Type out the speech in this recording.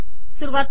सुरवात कर